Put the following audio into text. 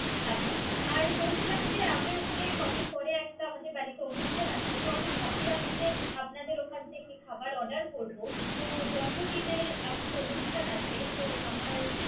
আচ্ছা। আর বলছিলাম যে, আমি আসলে কদিন পরে একটা। আমাদের বাড়িতে একটা অনুষ্ঠান আছে। তো আমি ভাবছিলাম যে আপনাদের ওখান থেকে খাবার order করব। তো জন্মদিনের আরকি অনুষ্ঠান আছে। আমার।